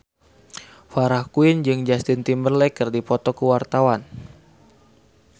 Farah Quinn jeung Justin Timberlake keur dipoto ku wartawan